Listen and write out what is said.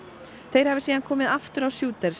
þeir hafi síðan komið aftur á